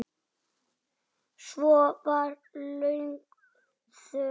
Svo var löng þögn.